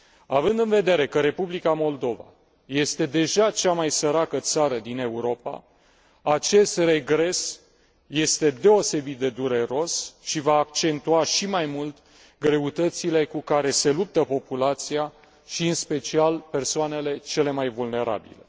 Având în vedere că Republica Moldova este deja cea mai săracă țară din Europa, acest regres este deosebit de dureros și va accentua și mai mult greutățile cu care se luptă populația și, în special, persoanele cele mai vulnerabile.